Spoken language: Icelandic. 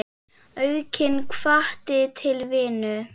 Aukinn hvati til vinnu.